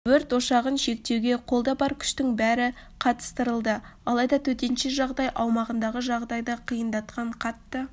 өрт ошағын шектеуге қолда бар күштің бәрі қатыстырылды алайда төтенше жағдай аумағындағы жағдайды қиындатқан қатты